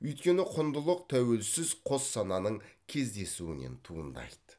өйткені құндылық тәуелсіз қос сананың кездесуінен туындайды